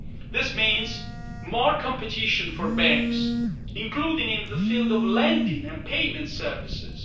This means more competition for banks, including in the field of lending and payment services.